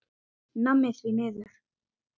Nammi, því miður.